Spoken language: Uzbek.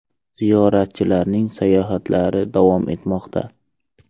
Ziyoratchilarning sayohatlari davom etmoqda.